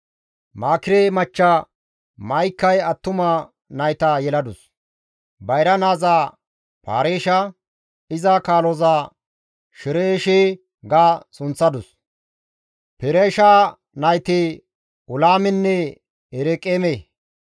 Maakire machcha Ma7ikay attuma nayta yeladus; bayra naaza Pareesha, iza kaaloza Shereeshe ga sunththadus. Pereesha nayti Ulaamenne Ereqeeme.